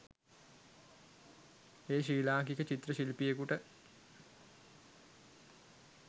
එය ශ්‍රී ලාංකික චිත්‍ර ශිල්පියකුට